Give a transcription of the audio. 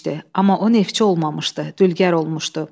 Amma o neftçi olmamışdı, dülgər olmuşdu.